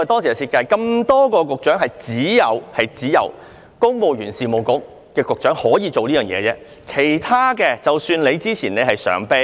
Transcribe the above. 在眾多局長當中，只有公務員事務局局長可以這樣做，只有他是例外。